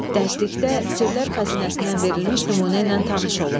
Dərslikdə Sirlər Xəzinəsindən verilmiş nümunə ilə tanış olun.